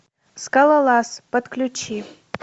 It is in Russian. скалолаз подключи